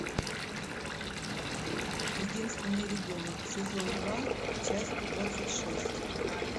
единственный ребенок сезон два часть двадцать шесть